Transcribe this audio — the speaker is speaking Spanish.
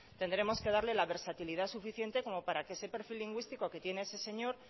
tendremos que darle la versatilidad suficiente como para que ese perfil lingüístico que tiene ese señor